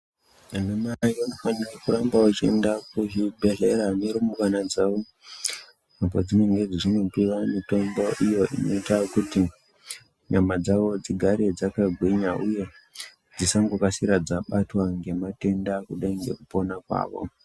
Vana mai vanofanira kuramba vachienda kuzvibhedhlera nerumbwana dzavo, padzinonga dzeinopiwa mitombo iyo inoita kuti nyama dzavo dzigare dzakagwinya uye dzingangokasira dzabatwa ngematenda kudai ngekupona kwavo.